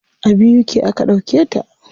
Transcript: A BUK aka ɗauke ta.